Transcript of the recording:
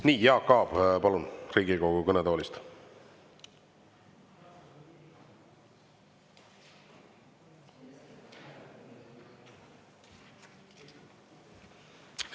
Nii, Jaak Aab, palun, Riigikogu kõnetoolist.